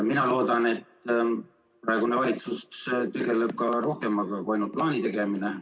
Mina loodan, et praegune valitsus tegeleb rohkemaga kui ainult plaani tegemisega.